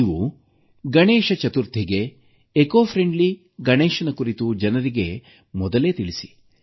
ನೀವು ಗಣೇಶ ಚತುರ್ಥಿಗೆ ಪರಿಸರಸ್ನೇಹಿ ಗಣೇಶ ಮೂರ್ತಿಗಳ ಕುರಿತು ಜನರಿಗೆ ಮೊದಲೇ ತಿಳಿಸಿ